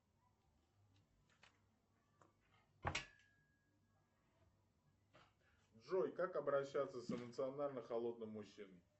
джой как обращаться с эмоционально холодным мужчиной